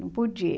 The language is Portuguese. Não podia.